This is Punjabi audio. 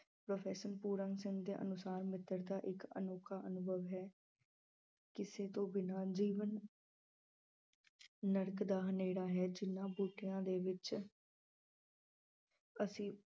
ਪ੍ਰੋਫੈਸਰ ਪੂਰਨ ਸਿੰਘ ਦੇ ਅਨੁਸਾਰ ਮਿੱਤਰਤਾ ਇੱਕ ਅਨੋਖਾ ਅਨੁਭਵ ਹੈ ਕਿਸੇ ਤੋਂ ਬਿਨਾਂ ਜੀਵਨ ਨਰਕ ਦਾ ਹਨੇਰਾ ਹੈ ਜਿੰਨਾਂ ਬੂਟਿਆਂ ਦੇ ਵਿੱਚ ਅਸੀਂ